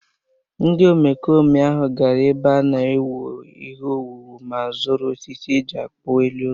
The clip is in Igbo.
Ndị omekome ahụ gara n’ebe a na-ewu ihe owuwu ma zuru osisi e ji kpụọ elu ụlọ